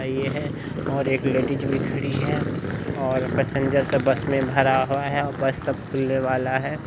ये है और एक लेडीज भी खड़ी है और पैसेंजर सब बस में भरा हुआ है और बस अब खुलने वाला है।